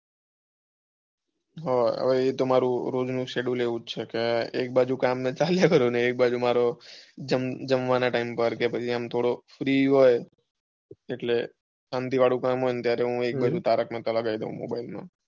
ઉહ એતો મારુ રોઝ નું sechedule એવું જ છે કે એક બાજુ કામ ને બધું ચાલ્યા કરે એક બાજુ મારે જમવાના ટાઈમ પર કે આમ થોડો free હોય કે શાંતિ વાળું કામ હોય તો તારક મેહતા લગાવી દઉં. mobile માં